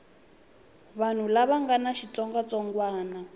vanhu lava nga na xitsongwatsongwana